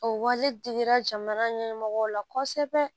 O wajibira jamana ɲɛmɔgɔw la kosɛbɛ